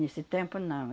Nesse tempo, não.